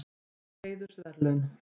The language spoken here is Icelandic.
Inga fékk heiðursverðlaun